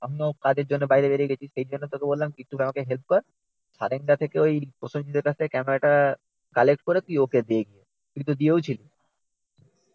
আমিও কাজের জন্য বাইরে বেরিয়ে গেছি সেইজন্য তোকে বললাম কি তুই আমাকে হেল্প কর সারেঙ্গা থেকে ওই প্রসনজিতের কাছ থেকে ক্যামেরা টা কালেক্ট করে তুই ওকে দে। তুই তো দিয়েওছিলি?